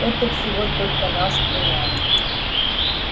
это всего только наш племянник